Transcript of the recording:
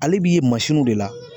Ale b'i ye masiniw de la.